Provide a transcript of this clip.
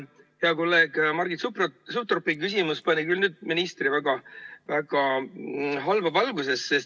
Hea kolleegi Margit Sutropi küsimus pani nüüd küll ministri väga halba valgusesse.